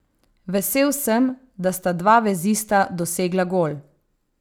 Vesel sem, da sta dva vezista dosegla gol.